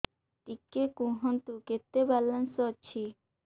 ଟିକେ କୁହନ୍ତୁ କେତେ ବାଲାନ୍ସ ଅଛି